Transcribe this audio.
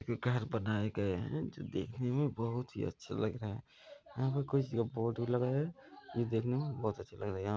ये घर बनाये गए हैं जो देखे में बहुत ही अच्छे लग रहे हैं यहाँ पर कोई चीज का फोटो लगाया है जो देखने में बहुत ही अच्छा लग रहा है यहाँ |